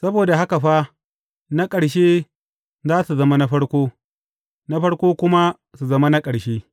Saboda haka fa, na ƙarshe za su zama na farko, na farko kuma su zama na ƙarshe.